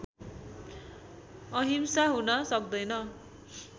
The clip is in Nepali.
अहिंसा हुन सक्दैन